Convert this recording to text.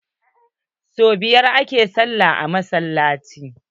Sau biyar a ke sallah a masallaci.